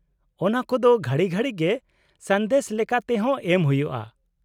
-ᱚᱱᱟ ᱠᱚᱫᱚ ᱜᱷᱟᱹᱲᱤ ᱜᱷᱟᱹᱲᱤ ᱜᱮ ᱥᱟᱸᱫᱮᱥ ᱞᱮᱠᱟ ᱛᱮᱦᱚᱸ ᱮᱢ ᱦᱩᱭᱩᱜᱼᱟ ᱾